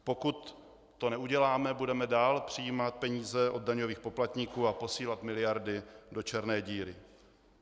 Pokud to neuděláme, budeme dál přijímat peníze od daňových poplatníků a posílat miliardy do černé díry.